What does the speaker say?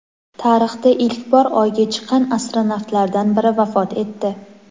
Tarixda ilk bor Oyga chiqqan astronavtlardan biri vafot etdi.